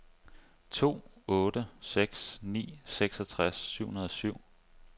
to otte seks ni seksogtres syv hundrede og syv